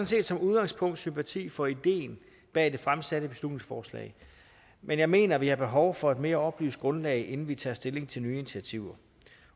set som udgangspunkt sympati for ideen bag det fremsatte beslutningsforslag men jeg mener vi har behov for et mere oplyst grundlag inden vi tager stilling til nye initiativer